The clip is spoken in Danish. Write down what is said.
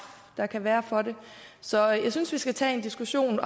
der kan være for det så jeg synes at vi skal tage en diskussion